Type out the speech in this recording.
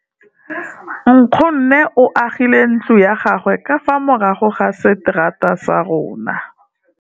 Nkgonne o agile ntlo ya gagwe ka fa morago ga seterata sa rona.